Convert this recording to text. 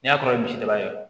N'a kɛra misi daba ye